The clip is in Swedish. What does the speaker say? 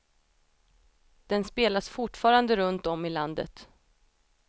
Den spelas fortfarande runt om i landet.